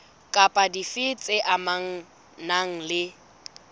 kapa dife tse amanang le